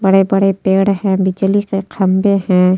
बड़े-बड़े पेड़ हैं। बिजली के खंभे हैं।